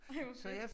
Ej hvor fedt